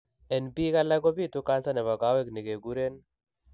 En biik alak kobitu cancer nebo kawek negiguren